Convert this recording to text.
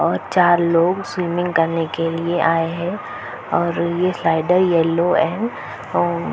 और चार लोग सिविमिंग करने के लिए आये है और ये सायदा येलो है अव--